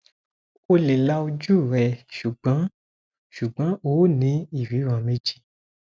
o le la oju rẹ ṣugbọn ṣugbọn o ni iriran meji